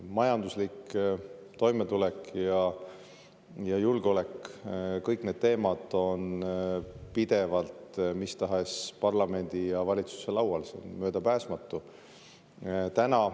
Majanduslik toimetulek ja julgeolek – kõik need teemad on pidevalt mis tahes parlamendi ja valitsuse laual, see on möödapääsmatu.